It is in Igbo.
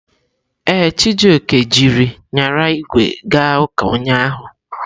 Ee, Chijioke jiri nyara ígwè ga ụka ụnyahụ.